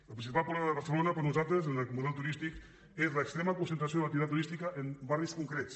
el principal problema de barcelona per nosaltres en el model turístic és l’extrema concentració de l’activitat turística en barris concrets